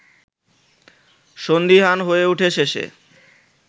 সন্দিহান হয়ে ওঠে শেষে